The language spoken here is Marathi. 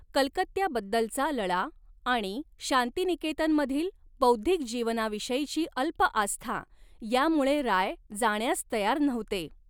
कलकत्त्याबद्दलचा लळा आणि शांतिनिकेतनमधील बौद्धिक जीवनाविषयीची अल्प आस्था यामुळे राय जाण्यास तयार नव्हते.